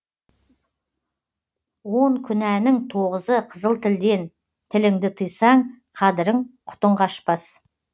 он күнәнің тоғызы қызыл тілден тіліңді тыйсаң қадірің құтың қашпас